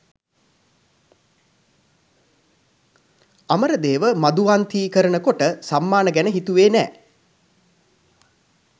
අමරදේව 'මධුවන්තී' කරන කොට සම්මාන ගැන හිතුවේ නෑ.